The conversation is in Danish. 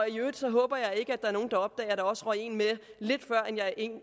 øvrigt håber jeg ikke at der er nogen der opdager at der også røg en med